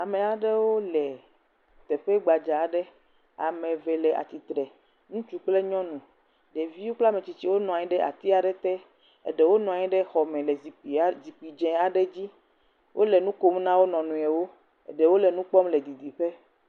Ame aɖewo le teƒe gbadza aɖe, ame eve le atsitre, ŋutsu kple nyɔnu, ɖeviwo kple ametsitsiwo nɔ anyi ati aɖe te, eɖewo nɔ anyi ɖe xɔ me le zikpui dze aɖe dzi, wole nu kom na wo nɔ nɔewo, eɖewo le nu kpɔm le didiƒe.